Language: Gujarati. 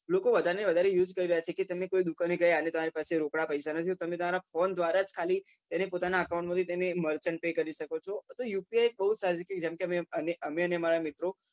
લોકો વધારે વધરે use કરી રહ્યા છે કે તમે કોઈ દુકાને ગયા ને તમારી પાસે રોકડા પૈસા નથી તમે તમારા ફોન દ્રારા ખાલી એને પોતાના account murchant pay કરી શકો છો UPI બઉ સારી રીતે જેમ કે અમે અમારા મિત્રો